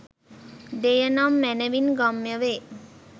දෙය නම් මැනවින් ගම්‍ය වේ